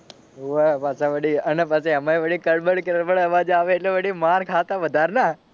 હોવે પાછા વળી અને પાછા એમાંય વળી કડબડ કડબડ અવાજ આવે એટલે વળી માર ખાતા વધાર ના.